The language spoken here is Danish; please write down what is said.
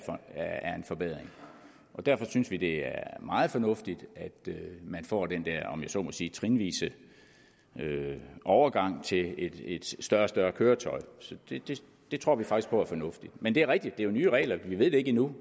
er en forbedring og derfor synes vi det er meget fornuftigt at man får den der om jeg så må sige trinvise overgang til et større og større køretøj det tror vi faktisk på er fornuftigt men det er jo rigtigt at det er nye regler vi ved ikke endnu